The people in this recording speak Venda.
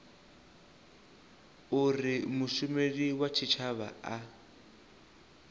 uri mushumeli wa tshitshavha a